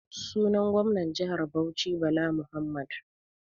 Sunan gomnar jihar Bauchi Bala Muhammad.